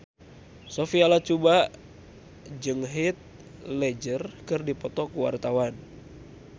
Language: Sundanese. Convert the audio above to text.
Sophia Latjuba jeung Heath Ledger keur dipoto ku wartawan